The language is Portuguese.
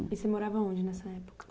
E você morava onde nessa época?